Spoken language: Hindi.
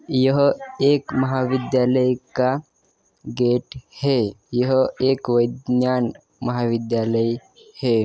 यह एक महाविध्यालय का गेट है। यह एक वैधन्यान महाविद्यालय है।